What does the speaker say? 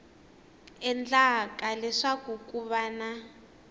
endlaka leswaku ku va na